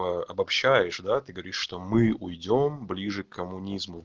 обобщаешь да ты говоришь что мы уйдём ближе к комунизму